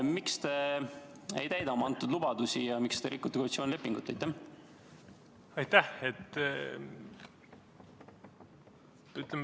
Miks te ei täida oma antud lubadust ja miks te rikute koalitsioonilepingut?